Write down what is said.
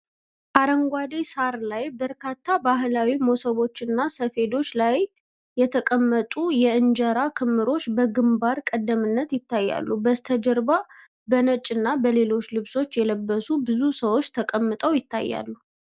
አረንጓዴ ሳር ላይ በርካታ በባህላዊ መሶቦችና ሰፌዶች ላይ የተቀመጡ የእንጀራ ክምርዎች በግንባር ቀደምትነት ይታያሉ። በስተጀርባ በነጭ እና በሌሎች ልብሶች የለበሱ ብዙ ሰዎች ተቀምጠው ይታያሉ።